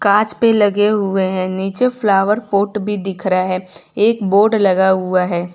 कांच पे लगे हुएं हैं नीचे फ्लावर पॉट भी दिख रहे है एक बोर्ड लगा हुआ हैं।